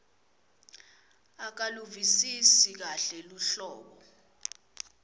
akaluvisisi kahle luhlobo